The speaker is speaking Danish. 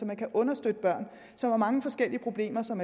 man understøtte børn som har mange forskellige problemer som